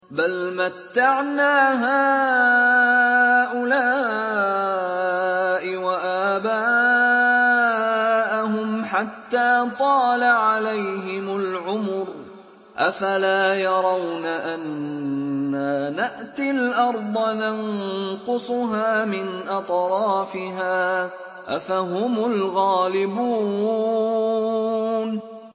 بَلْ مَتَّعْنَا هَٰؤُلَاءِ وَآبَاءَهُمْ حَتَّىٰ طَالَ عَلَيْهِمُ الْعُمُرُ ۗ أَفَلَا يَرَوْنَ أَنَّا نَأْتِي الْأَرْضَ نَنقُصُهَا مِنْ أَطْرَافِهَا ۚ أَفَهُمُ الْغَالِبُونَ